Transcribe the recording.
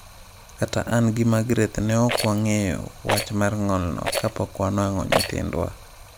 Kata an gi Magreth ne ok wang’eyo wach mar ng’olno kapok wanwang’o nyithindwa.